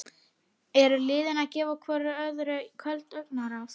Eru liðin að gefa hvoru öðru köld augnaráð?